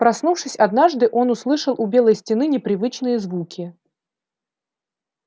проснувшись однажды он услышал у белой стены непривычные звуки